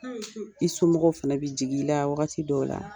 I somɔgɔw fana bɛ jigin i la wagati dɔw la.